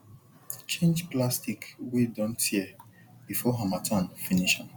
change plastic wey don tear before harmattan finish am